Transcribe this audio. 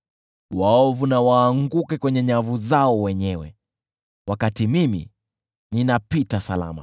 Waovu na waanguke kwenye nyavu zao wenyewe, wakati mimi ninapita salama.